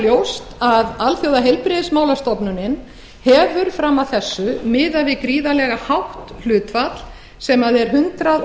ljóst að alþjóðaheilbrigðismálastofnunin hefur fram að þessu miðað við gríðarlega hátt hlutfall sem er hundrað